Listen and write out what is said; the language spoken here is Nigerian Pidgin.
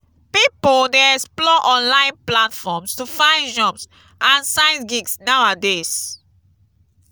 pipo dey explore online platforms to find jobs and side gigs nowadays.